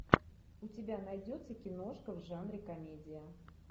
у тебя найдется киношка в жанре комедия